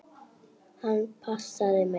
Hann passaði mig.